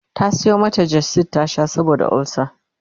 ta Sayo mata gestid ta Sha saboda ulcer